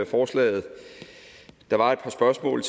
forslaget der var et par spørgsmål